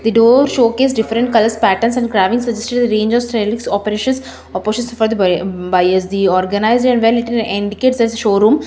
door showcase different colours patterns and cravings suggesting a range of cells operations for the ba e bias the organised and well lit indicates showroom.